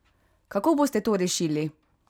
Kako boste to rešili?